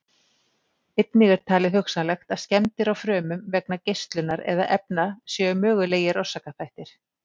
Einnig er talið hugsanlegt að skemmdir á frumum vegna geislunar eða efna séu mögulegir orsakaþættir.